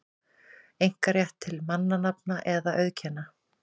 einkarétt til mannanafna eða auðkenna.